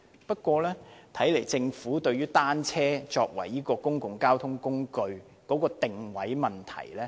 不過，看來政府不太認同單車作為公共交通工具的定位。